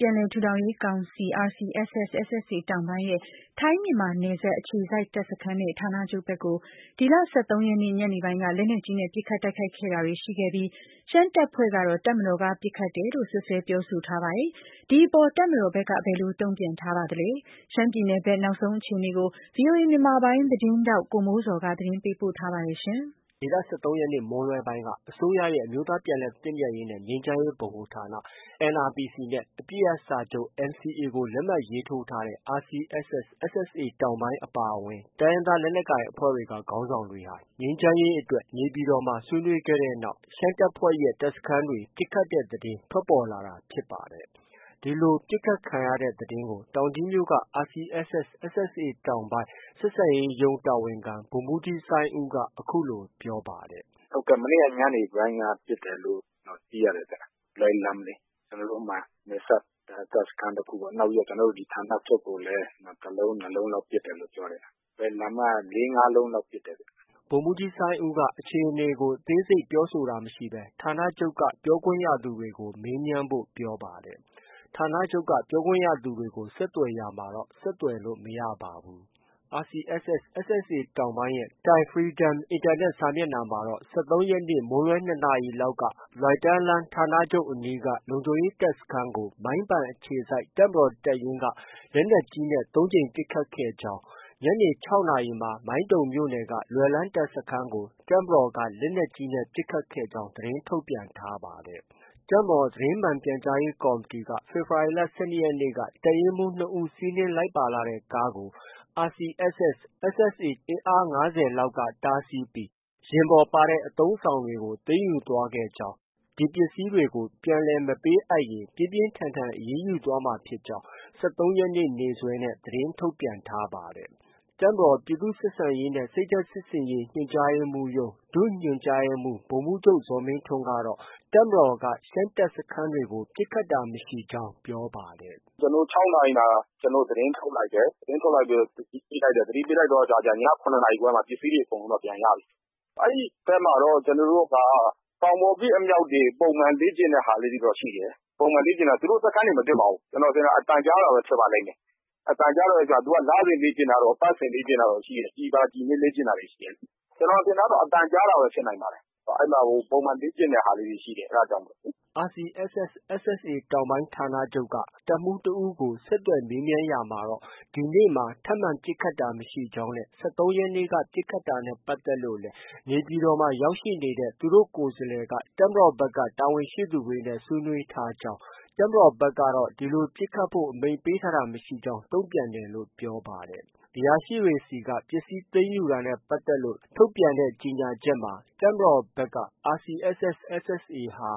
ပြန်လည်ထူထောင်ရေးကောင်စီ RCSS/SSA တောင်ပိုင်းရဲ့ ထိုင်းမြန်မာနယ်စပ်အခြေစိုက်တပ်စခန်းနဲ့ ဌာနချုပ်ဘက်ကို ဒီလ ၁၃ရက်နေ့ ညနေပိုင်းက လက်နက်ကြီးနဲ့ပစ်ခတ်တိုက်ခိုက်တာတွေ ရှိခဲ့ပြီး ရှမ်းတပ်ဖွဲ့ကတော့ တပ်မတော်က ပစ်ခတ်တယ်လို့ စွပ်စွဲပြောဆိုထားပါတယ်။ ဒီအပေါ် တပ်မတော်ဘက်က ဘယ်လိုတုံ့ပြန်ထားပါလဲ။ ရှမ်းပြည်နယ်ဘက် နောက်ဆုံးအခြေအနေကို ဗွီအိုအေမြန်မာပိုင်း သတင်းထောက်ကိုမိုးဇော်က သတင်းပေးပို့ထားပါတယ်။ ဒီလ ၁၃ရက်နေ့ မွန်းလွဲပိုင်းမှာ အစိုးရရဲ့ အမျိုးသားပြန်လည်သင့်မြတ်ရေးနဲ့ ငြိမ်းချမ်းရေးဗဟိုဌာနနဲ့ အပစ်ရပ်စာချုပ် NCA လက်မှတ်ရေးထိုးထားတဲ့ RCSS/SSA တောင်ပိုင်း အပါအဝင် တိုင်းရင်းသားလက်နက်ကိုင်အဖွဲ့တွေက ခေါင်းဆောင်တွေ ငြိမ်းချမ်းရေးအတွက် နေပြည်တော်မှာ ဆွေးနွေးခဲ့တဲ့နောက်မှာ ရှမ်းတပ်ဖွဲ့ရဲ တပ်စခန်းတွေ ပစ်ခတ်တဲ့သတင်း ထွက်ပေါ်လာတာဖြစ်ပါတယ်။ ဒီလို ပစ်ခတ်ခံရတဲ့သတင်းကို တောင်ကြီးမြို့က RCSS/SSA တောင်ပိုင်း ဆက်ဆံရေးရုံးတာဝန်ခံ ဗိုလ်မှုးကြီးစိုင်းဦးက အခုလို ပြောပါတယ်။ “ မနေ့က ညနေပိုင်းက ပစ်တယ်လို့ သိရတယ်ဗျ။ လွယ်လမ်လေ။ ကျနော်တို့ နယ်စပ်တပ်စခန်းတစ်ခုပေါ့။ နောက်ပြီးတော့ ကျနော်တို့ ဌာနချုပ်ကိုလည်း တစ်လုံး၊ နှစ်လုံးလောက် ပစ်တယ်လို့ ပြောတယ်ဗျ။ လွယ်လမ်က ၄- ၅လုံးလောက်ပစ်တယ်ဗျ။” ဗိုလ်မှုးကြီးစိုင်းဦးက အခြေအနေအသေးစိတ်ကို ပြောဆိုတာမရှိဘဲ ဌာနချုပ်က ပြောခွင့်ရသူတွေကို မေးမြန်းဖို့ ပြောပါတယ်။ ဌာနချုပ်က ပြောခွင့်ရသူတွေကို ဆက်သွယ်ရာမှာတော့ ဆက်သွယ်လို့ မရပါဘူး။ RCSS/SSA တောင်ပိုင်းရဲ့ Tai Freedom အင်တာနက်စာမျက်နှာမှာတော့ ၁၃ရက်နေ့ မွန်းလွဲ ၂နာရီလောက် လွိုင်တန်းလျန်းဌာနချုပ်အနီးက လုံခြုံရေးတပ်စခန်းကို မိုင်းပန်အခြေစိုက် တပ်မတော် တပ်ရင်းက လက်နက်ကြီးနဲ့ ၃ကြိမ်ပစ်ခတ်ခဲ့ကြောင်း၊ ညနေ ၆နာရီမှာ မိုင်းတုံမြို့နယ်က လွယ်လမ်တပ်စခန်းကို တပ်မတော်က လက်နက်ကြီးနဲ့ ပစ်ခတ်ခဲ့ကြောင်း သတင်းထုတ်ပြန်ထားပါတယ်။ တပ်မတော် သတင်းမှန်ပြန်ကြားရေးကော်မတီက ဖေဖော်ဝါရီလ ၁၂ရက်နေ့က တပ်ရင်းမှုး၂ဦး စီးနင်းလာတဲ့ကားကို RCSS/SSA အဖွဲ့ အင်အား၅၀လောက်က တားဆီးပြီး ယာဉ်ပေါ်ပါတဲ့ အသုံးအဆောင်တွေ ကို သိမ်းယူသွားခဲ့ကြောင်း၊ ဒီပစ္စည်းတွေကို ပြန်လည်မပေးအပ်ရင် ပြင်းပြင်းထန်ထန်အရေးယူသွားမှာ ဖြစ်ကြောင်း ၁၃ရက်နေ့ နေ့စွဲနဲ့ သတင်းထုတ်ပြန်ထားပါတယ်။ တပ်မတော် ပြည်သူ့ဆက်ဆံရေးနဲ့ စိတ်ဓါတ်စစ်ဆင်ရေး ညွှန်ကြားရေးမှုးရုံး ဒုညွှန်မှုး ဗိုလ်မှုးချုပ် ဇော်မင်းထွန်းကတော့ တပ်မတော်ဘက်က ရှမ်းတပ်စခန်းတွေကို ပစ်တာတာမရှိကြောင်း ပြောပါတယ်။ “ ကျနော်တို့ ၆နာရီမှာ သတင်းထုတ်လိုက်တယ်။ သတင်းထုတ်လိုက်ပြီးတော့ သတိပေးလိုက်တယ်။ သတိပေးလိုက်တဲ့အခါကျ ည ၇နာရီခွဲမှာတော့ ပစ္စည်းတွေ အကုန်ပြန်ရပြီ။ အဲဒီဘက်မှာတော့ ကျနော်တို့က တောင်ပေါ်ပစ်အမြှောက်တွေ ပုံမှန်လေ့ကျင့်တဲ့ဟာတော့ ရှိတယ်။ ပုံမှန်လေ့ကျင့်တာ။ သူတို့ စခန်းတွေ မပစ်ပါဘူး။ ကျနော်ထင်တာ အသံကြားတာပဲ ဖြစ်ပါလိမ့်မယ်။ အသံကြားတယ်ဆိုတာ သူက လစဉ်လေ့ကျင့်တာတို့၊ အပတ်စဉ်လေ့ကျင့်တာတို့ရှိတယ်။ ကျည်ပါ ကျည်နဲ့ လေ့ကျင့်တာတွေ ရှိတယ်လေ။ ကျနော်ထင်တာကတော့ အသံကြားတာပဲ ဖြစ်နိုင်ပါတယ်။ အဲဒီမှာ ပုံမှန်လေ့ကျင့်တဲ့ဟာလေးတွေ ရှိတယ်။ အဲဒါကြောင့်မို့လေ။ ” RCSS/SSA တောင်ပိုင်း ဌာနချုပ်က တပ်မှုးတစ်ဦးကို ဆက်သွယ်မေးမြန်းရာမှာတော့ ဒီနေ့မှာ ထပ်မံပစ်ခတ်တာမရှိကြောင်းနဲ့ ၁၃ရက်နေ့က ပစ်ခတ်တာနဲ့ပတ်သက်လို့လည်း နေပြည်တော်မှာ ရောက်ရှိနေတဲ့ သူတို့ ကိုယ်စားလှယ်က တပ်မတော်ဘက်က တာဝန်ရှိသူတွေနဲ့ဆွေးနွေးထားကြောင်း၊ တပ်မတော်ဘက်ကတော့ ဒီလို ပစ်ခတ်ဖို့ အမိန့်ပေးထားတာမရှိကြောင်း တုံပြန်တယ်လို့ ပြောပါတယ်။ အရာရှိတွေဆီက ပစ္စည်းသိမ်းယူတာနဲ့ပတ်သက်လို့ ထုတ်ပြန်တဲ့ ကြေညာချက်မှာတော့ တပ်မတော်ဘက် RCSS/SSA ဟာ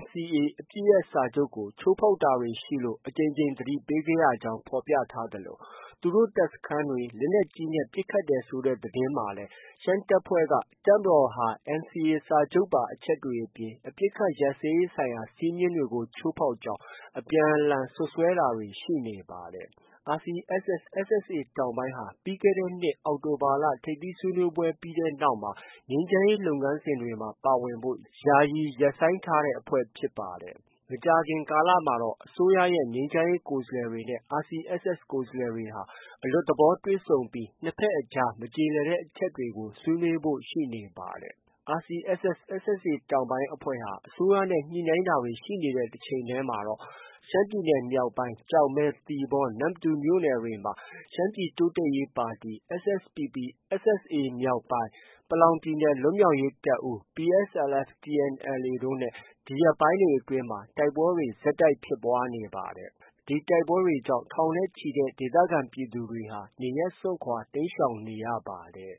NCA အပစ်ရပ်စာချုပ်ကို ချိုးဖောက်တာတွေရှိလို့ အကြိမ်ကြိမ်သတိပေးခဲ့ရကြောင်း ဖော်ပြထားသလို သူတို့ တပ်စခန်းတွေ လက်နက်ကြီးနဲ့ပစ်ခတ်တယ်ဆိုတဲ့သတင်းမှာလည်း ရှမ်းတပ်ဖွဲ့က တပ်မတော်ဟာ NCA စာချုပ်ပါအချက်တွေအပြင် အပစ်အခတ်ရပ်စဲရေးဆိုင်ရာ စည်းမျဉ်းတွေကို ချိုးဖောက်ကြောင်း အပြန်အလှန် စွပ်စွဲတာတွေ ရှိနေပါတယ်။ RCSS/SSA တောင်ပိုင်းဟာ ပြီးခဲ့တဲ့နှစ် အောက်တိုဘာ ထိပ်သီးဆွေးနွေးပွဲပြီးနောက် ငြိမ်းချမ်းရေးလုပ်ငန်းစဉ်တွေမှာ ပါဝင်ဖို့ ယာယီရပ်ဆိုင်းထားတဲ့ အဖွဲ့ဖြစ်ပါတယ်။ မကြာခင်ကာလမှာ အစိုးရရဲ့ ငြိမ်းချမ်းရေးကိုယ်စားလှယ်တွေနဲ့ RCSS ကိုယ်စားလှယ်တွေဟာ အလွတ်သဘောတွေ့ဆုံပြီး နှစ်ဘက်အကြား မကျေလည်တဲ့အချက်တွေကို ဆွေးနွေးကြဖို့ ရှိနေပါတယ်။ RCSS/SSA တောင်ပိုင်းအဖွဲ့ဟာ အစိုးရနဲ့ ညှိနှိုင်းတာတွေ ရှိနေတဲ့ တစ်ချိန်တည်းမှာတော့ ရှမ်းပြည်နယ်မြောက်ပိုင်း ကျောက်မဲ၊ သီပေါ၊ နမ္မတူမြို့နယ်တွေမှာ ရှမ်းပြည်တိုးတက်ရေးပါတီ SSPP/SSA မြောက်ပိုင်းနဲ့ ပလောင်ပြည်နယ်လွတ်မြောက်ရေးတပ်ဦး PSLF/TNLA တို့နဲ့ ဒီရက်ပိုင်းတွေအတွင်း တိုက်ပွဲတွေ ဆက်တိုက်ဖြစ်ပွားနေပါတယ်။ ဒီတိုက်ပွဲတွေကြောင့် ထောင်နဲ့ချီတဲ့ ဒေသခံပြည်သူတွေဟာ နေရပ်စွန့်ခွာ တိမ်းရှောင်နေရပါတယ်။